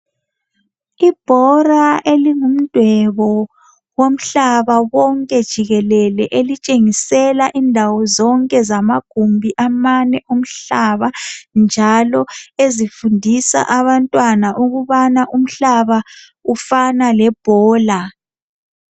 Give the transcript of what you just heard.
Ibhora elingumdwebo, womhlaba wonke jikelele. Elitshengisela indawo zonke zamagumbi amane omhlaba, njalo ezifundisa abantwana ukubana umhlaba ufana lebhola.